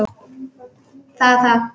Það er það!